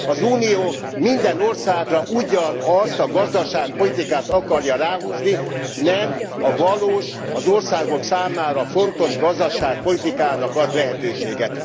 Az Unió minden országra ugyanazt a gazdaságpolitikát akarja ráhúzni, nem a valós, az országok számára fontos gazdaságpolitikának ad lehetőséget.